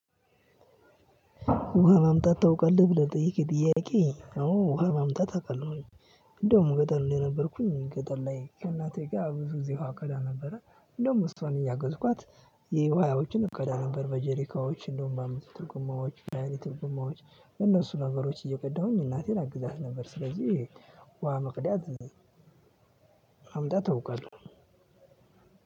ውሃ ማምጣት ታውቃለህ? ብለህ የጠየቅከኝ ጥያቄ፣ አዎ ውሃ ማምጣት አውቃለሁኝ። እንደውም ገጠር ነው የነበርኩኝ። ገጠር ላይ ከእናቴ ጋር ብዙ ግዜ ውሃ እቀዳ ነበረ። እንደውም እሷን እያገዝኳት እቀዳ ነበር። በጀሪካዎች እንደውም በአምስት ሊትር ጎማዎች፣ በሃያ ሊትር ጎማዎች፣ እነሱ ነገሮች እየቀዳሁኝ እናቴን አግዛት ነበር። ስለዚህ ውሃ መቅደት ማምጣት አውቃለሁ።